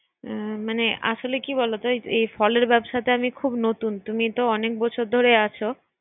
হুম মানে আসলে কি বলতো এই ¬এই ফলের ব্যবসাটায় আমি খুব নুতন তুমি তো অনেক বছর ধরে আছো